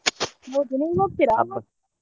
ಹೌದಾ ನೀವ್ ?